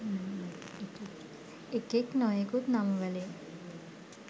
එකෙක් නොයෙකුත් නම් වලින්